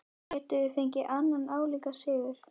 Gætum við fengið annan álíka sigur?